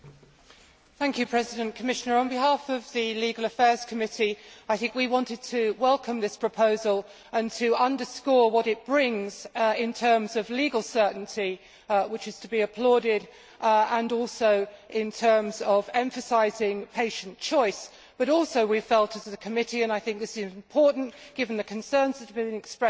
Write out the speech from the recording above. Mr President, on behalf of the Legal Affairs Committee we wanted to welcome this proposal and to underscore what it brings in terms of legal certainty, which is to be applauded, and also in terms of emphasising patient choice. But also we felt, as a committee and I think this is important, given the concerns that have been expressed this morning